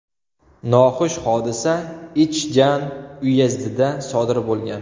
Noxush hodisa Ichjan uyezdida sodir bo‘lgan.